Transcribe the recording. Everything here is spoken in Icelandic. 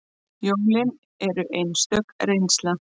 Jólin eru einstök reynsla